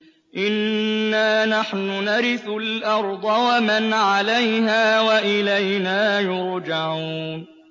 إِنَّا نَحْنُ نَرِثُ الْأَرْضَ وَمَنْ عَلَيْهَا وَإِلَيْنَا يُرْجَعُونَ